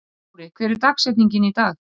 Móri, hver er dagsetningin í dag?